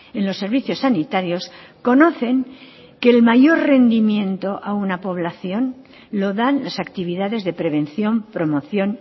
en los servicios sanitarios conocen que el mayor rendimiento a una población lo dan las actividades de prevención promoción